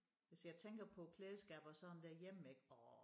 Hvis jeg tænker på klædeskab og sådan derhjemme ik orh